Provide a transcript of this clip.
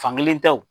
Fankelen tɛ o